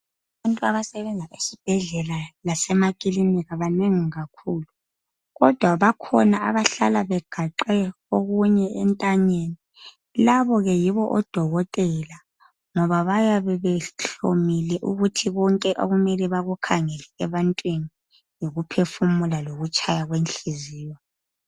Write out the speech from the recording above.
Abantu abasebenza esibhedlela lasemakilinika banengi kakhulu. Kodwa bakhona abahlala kegaxe okunye entanyeni. Labo ke yibo odokotela ngoba abayabe behlomile ukuthi konke okumele bakukhangele ebantwini yikuphefumula lokutshaya kwenhliziyo